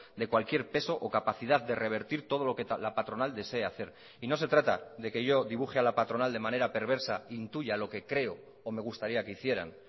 de cualquier peso o capacidad de revertir todo lo que la patronal desee hacer y no se trata de que yo dibuje a la patronal de manera perversa intuya lo que creo o me gustaría que hicieran